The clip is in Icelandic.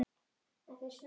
Talaðu ensku!